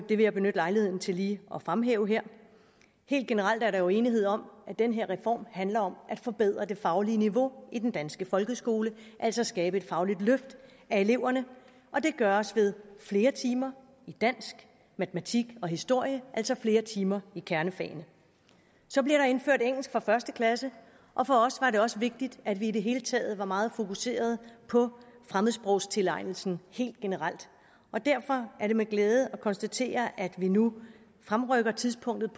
vil jeg benytte lejligheden til lige at fremhæve her helt generelt er der jo enighed om at den her reform handler om at forbedre det faglige niveau i den danske folkeskole altså skabe et fagligt løft af eleverne og det gøres ved flere timer i dansk matematik og historie altså flere timer i kernefagene så bliver der indført engelsk fra første klasse og for os var det også vigtigt at vi i det hele taget var meget fokuseret på fremmedsprogstilegnelsen helt generelt derfor er det med glæde vi kan konstatere at vi nu fremrykker tidspunktet